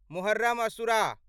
Muharram asura